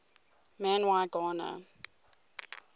man y gana